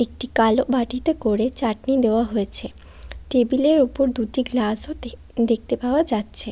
একটি কালো বাটিতে করে চাটনি দেওয়া হয়েছে টেবিল এর ওপর দুটি গ্লাস ও দেখ দেখতে পাওয়া যাচ্ছে।